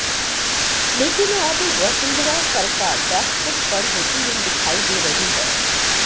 लेकिन अब वसुंधरा सरका बैकफुट पर होती हुई दिखाई दे रही है